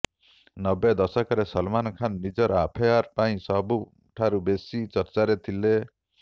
ନବେ ଦଶକରେ ସଲମାନ ଖାନ ନିଜର ଆଫେଆର୍ ପାଇଁ ସବୁଠାରୁ ବେଶୀ ଚର୍ଚ୍ଚାରେ ଥିଲେ